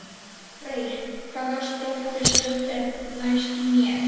Oddfreyr, hvaða stoppistöð er næst mér?